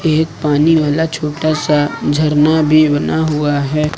एक पानी वाला छोटा सा झरना भी बना हुआ है।